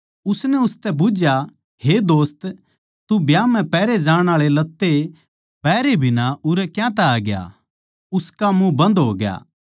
उसनै उसतै बुझ्झया हे दोस्त तू ब्याह म्ह पैहरे जाण आळे लत्ते पहरे बिना उरै क्यातै आ ग्या उसका मुँह बन्द होग्या